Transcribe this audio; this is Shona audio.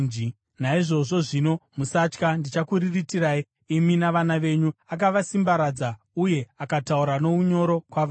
Naizvozvo zvino, musatya. Ndichakuriritirai imi navana venyu.” Akavasimbaradza uye akataura nounyoro kwavari.